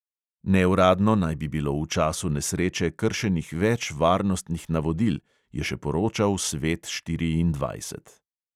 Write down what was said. Neuradno naj bi bilo v času nesreče kršenih več varnostnih navodil, je še poročal svet štiriindvajset.